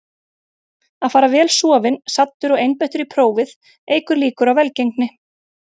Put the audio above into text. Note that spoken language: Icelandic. Að fara vel sofinn, saddur og einbeittur í prófið eykur líkur á velgengni.